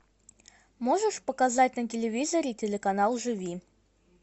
можешь показать на телевизоре телеканал живи